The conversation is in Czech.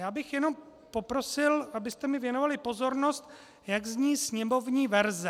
Já bych jenom poprosil, abyste mi věnovali pozornost, jak zní sněmovní verze.